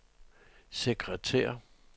sekretær